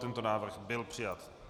Tento návrh byl přijat.